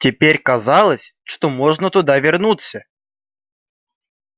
теперь казалось что можно туда вернуться